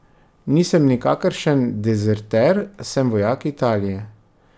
Nisem nikakršen dezerter, sem vojak Italije.